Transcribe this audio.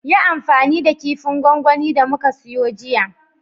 Yi amfani da kifin gwangwani da muka siyo jiya